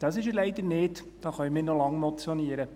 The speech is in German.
Das ist er leider nicht, da können wir noch lange motionieren.